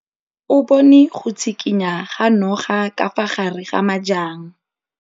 O bone go tshikinya ga noga ka fa gare ga majang.